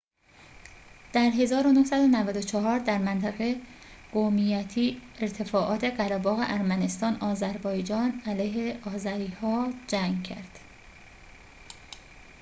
در ۱۹۹۴ در منطقه قومیتی ارتفاعات قره‌باغ ارمنستان آذربایجان علیه آذری‌ها جنگ کرد